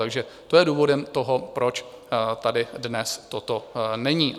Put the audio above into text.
Takže to je důvodem toho, proč tady dnes toto není.